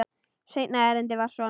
Seinna erindið var svona: